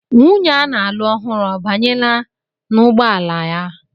Nwunye a na-alụ ọhụrụ abanyela n'ụgbọ ala ya?